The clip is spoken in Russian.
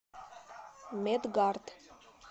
медгард